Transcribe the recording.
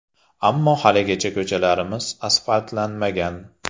– Ammo haligacha ko‘chalarimiz asfaltlanmagan.